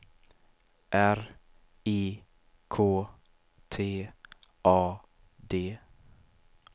R I K T A D